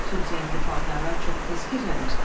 Axı tünd rəngli paltarlar çox tez kirlənir.